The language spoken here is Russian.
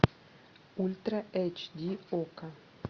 ультра эйч ди окко